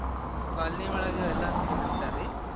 Colony ಒಳಗ ಎಲ್ಲಾರು ಕೂಡಿರ್ತಾರಿ.